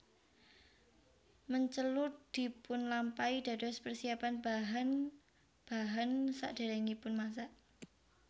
Mencelur dipunlampahi dados persiapan bahan bahan sakderengipun masak